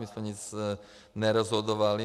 My jsme nic nerozhodovali.